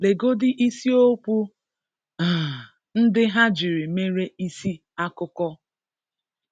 Legodi isi-okwu um ndị ha jiri mere isi-akụkọ.